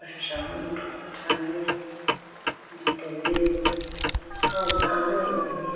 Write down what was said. Shah mane thrunane jutene deyayi bo aw acha alo apenge.